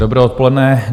Dobré odpoledne.